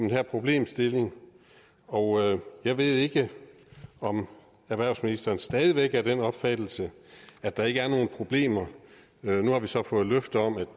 her problemstilling og jeg ved ikke om erhvervsministeren stadig væk er af den opfattelse at der ikke er nogen problemer nu har vi så fået et løfte om at